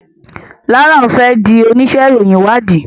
Laura fè dì onísé ìròyìn ìwádìí